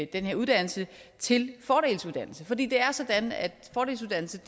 den her uddannelse til fordelsuddannelse for det er sådan at fordelsuddannelse